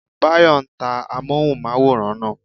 Báyọ̀ ta amóhùnmáwòrán náà